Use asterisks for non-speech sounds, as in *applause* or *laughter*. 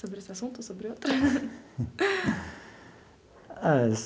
Sobre esse assunto ou sobre outro? *laughs* Ah.